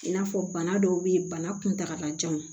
I n'a fɔ bana dɔw be ye bana kuntakalajan